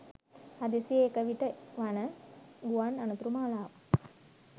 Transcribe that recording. හදිසියේ එක විට වන ගුවන් අනතුරු මාලාවක්.